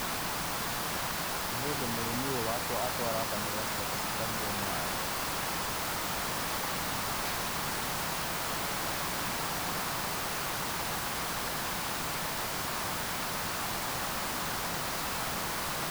Nĩ hĩndĩ mũrĩmĩ ũyũ atwara ngamĩra ciake cikanywe maaĩ.